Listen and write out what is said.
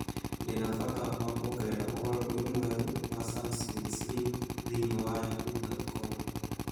Ndĩ na bata wa kwongerera ũhoro ũyũ mwerũ wa Sam Smith Smith thĩinĩ wa yahoo dot com